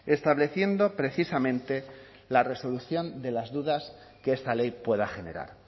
estableciendo precisamente la resolución de las dudas que esta ley pueda generar